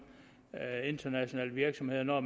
internationale virksomheder når